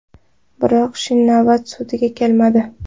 Biroq Chinavat sudga kelmadi.